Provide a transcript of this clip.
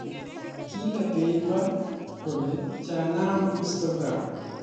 Kilee beiber kole jaanam instagram